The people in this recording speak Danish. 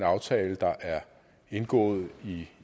aftale der er indgået